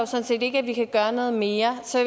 sådan set ikke at vi kan gøre noget mere så